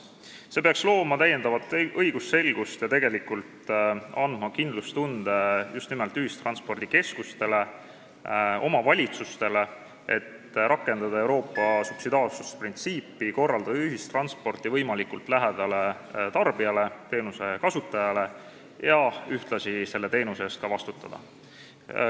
See kõik peaks looma täiendavat õigusselgust ja andma kindlustunde just nimelt ühistranspordikeskustele ja omavalitsustele, rakendamaks Euroopa subsidiaarsusprintsiipi, mille järgi tuleb ühistransporti korraldada võimalikult tarbija, teenuse kasutaja lähedal ja ühtlasi selle teenuse eest ka vastutada.